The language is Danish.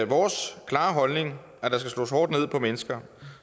vores klare holdning at på mennesker